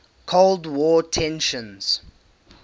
cold war tensions